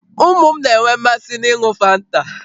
Ụmụ m na-enwe mmasị n'ịn̄ụ fanta